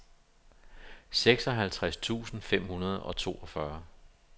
seksoghalvtreds tusind fem hundrede og toogfyrre